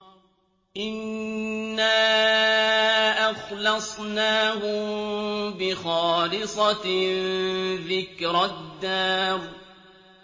إِنَّا أَخْلَصْنَاهُم بِخَالِصَةٍ ذِكْرَى الدَّارِ